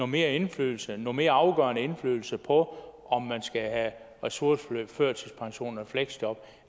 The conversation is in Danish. mere indflydelse noget mere afgørende indflydelse på om man skal have ressourceforløb førtidspension eller fleksjob